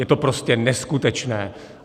Je to prostě neskutečné!